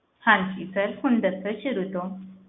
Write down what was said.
ਹਾਂਜੀ sir ਹੁਣ ਦੱਸੋ ਸ਼ੁਰੂ ਤੋਂ।